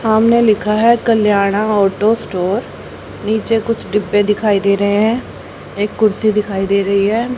सामने लिखा है कल्याणा ऑटो स्टोर नीचे कुछ डिब्बे दिखाई दे रहे हैं एक कुर्सी दिखाई दे रही है।